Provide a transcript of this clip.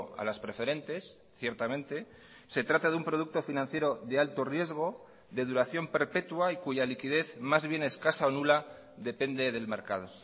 a las preferentes ciertamente se trata de un producto financiero de alto riesgo de duración perpetua y cuya liquidez más bien escasa o nula depende del mercado